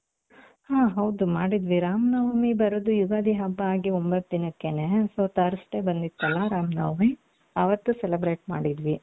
ಹ ಹೌದು ಮಾಡುದ್ವಿ ರಾಮನವಮಿ ಬರೋದು ಯುಗಾದಿ ಹಬ್ಬ ಆಗಿ ಒಂಬತ್ತು ದಿನಕ್ಕೆನೆ so thursday ಬಂದಿತ್ತಲ್ಲ ರಾಮನವಮಿ ಅವತು celebrate ಮಾಡುದ್ವಿ.